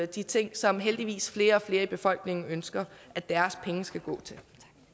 de ting som heldigvis flere og flere i befolkningen ønsker at deres penge skal gå til